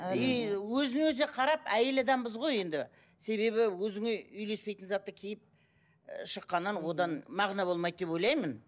и өзін өзіне қарап әйел адамбыз ғой енді себебі өзіңе үйлеспейтін затты киіп ы шыққаннан одан мағына болмайды деп ойлаймын